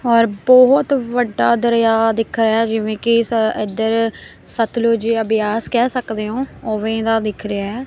ਔਰ ਬਹੁਤ ਵੱਡਾ ਦਰਿਆ ਦਿਖਾਇਆ ਜਿਵੇਂ ਕੇਸ ਇਧਰ ਸਤਲੁਜ ਜਾਂ ਬਿਆਸ ਕਹਿ ਸਕਦੇ ਹੋ ਉਵੇਂ ਦਾ ਦਿਖ ਰਿਹਾ।